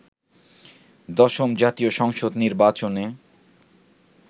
১০ম জাতীয় সংসদ নির্বাচনে